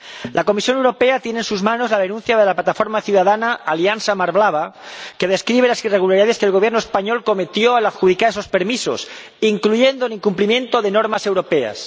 La Comisión Europea tiene en sus manos la denuncia de la plataforma ciudadana Alianza Mar Blava, que describe las irregularidades que el Gobierno español cometió al adjudicar esos permisos, incluyendo el incumplimiento de normas europeas.